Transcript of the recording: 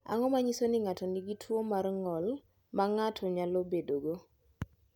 Ang’o ma nyiso ni ng’ato nigi tuwo mar ng’ol ma ng’ato nyalo bedogo?